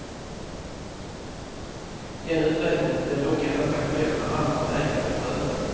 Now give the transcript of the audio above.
Den utvägen blir dock endast aktuell när andra vägar är prövade.